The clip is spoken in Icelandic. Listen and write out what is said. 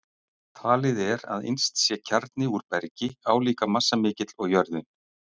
Talið er að innst sé kjarni úr bergi, álíka massamikill og jörðin.